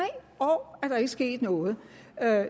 år er der ikke sket noget